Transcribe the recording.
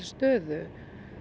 stöðu